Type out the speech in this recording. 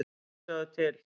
Já, sjá til!